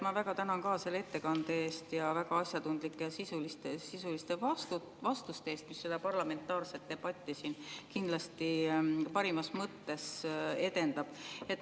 Ma ka väga tänan selle ettekande eest ja väga asjatundlike ja sisuliste vastuste eest, mis seda parlamentaarset debatti siin kindlasti parimas mõttes edendab.